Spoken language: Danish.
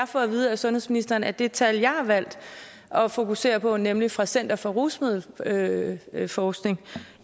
få at vide af sundhedsministeren at det tal jeg har valgt at fokusere på nemlig fra center for rusmiddelforskning